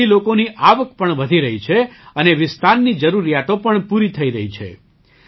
તેનાથી લોકોની આવક પણ વધી રહી છે અને વિસ્તારની જરૂરિયાતો પણ પૂરી થઈ રહી છે